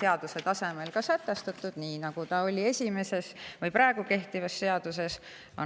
seaduse tasemel sätestatud, nii nagu ta praegu kehtivas seaduses on.